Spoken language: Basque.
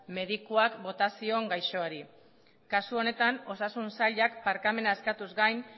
medikuak bota zion gaixoari kasu honetan osasun sailak barkamena eskatuz gain